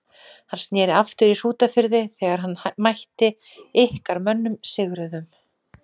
Hann sneri aftur í Hrútafirði þegar hann mætti ykkar mönnum sigruðum.